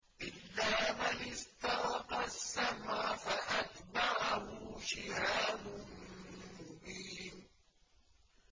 إِلَّا مَنِ اسْتَرَقَ السَّمْعَ فَأَتْبَعَهُ شِهَابٌ مُّبِينٌ